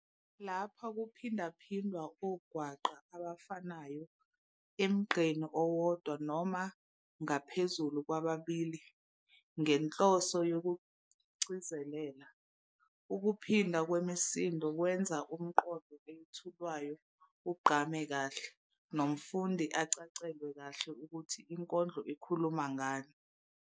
Lapha kuphindaphindwa ongwaqa abafanayo emgqeni owodwa noma ngaphezulu kwababili ngenhloso yokugcizelela. Ukuphindwa kwemisindo kwenza umqondo owethulwayo ugqame kahle, nomfundi acacelwe kahle ukuthi inkondlo ikhuluma ngani.